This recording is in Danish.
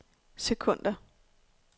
sekunder